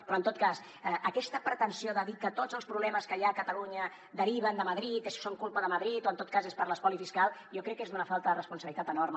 però en tot cas aquesta pretensió de dir que tots els problemes que hi ha a catalunya deriven de madrid són culpa de madrid o en tot cas són per l’espoli fiscal jo crec que és d’una falta de responsabilitat enorme